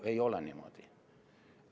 Ei ole niimoodi.